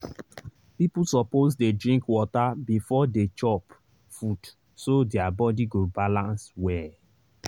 people suppose dey drink water beforedey chop food so their body go balance well.